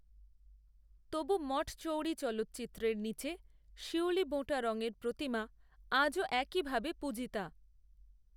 তবু মঠচৌরি চালচিত্রের নীচে শিউলিবোঁটা রঙের প্রতিমা আজও একই ভাবে পূজিতা